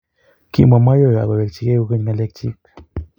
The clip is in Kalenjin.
Kimwa Mayowe ak kowekyikei kokeny ng'alekchich